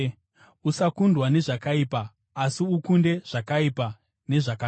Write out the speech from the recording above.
Usakundwa nezvakaipa, asi ukunde zvakaipa nezvakanaka.